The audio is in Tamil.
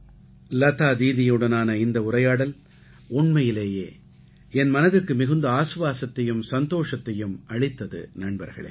லதா தீதியுடனான இந்த உரையாடல் உண்மையிலேயே என் மனதுக்கு மிகுந்த ஆசுவாசத்தையும் சந்தோஷத்தையும் அளித்தது நண்பர்களே